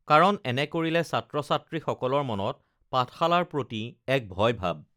কাৰণ এনে কৰিলে ছাত্ৰ ছাত্ৰী সকলৰ মনত পাঠশালাৰ প্ৰতি এক ভয় ভাৱ